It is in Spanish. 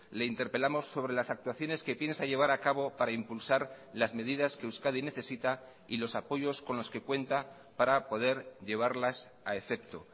le interpelamos sobre las actuaciones que piensa llevar a cabo para impulsar las medidas que euskadi necesita y los apoyos con los que cuenta para poder llevarlas a efecto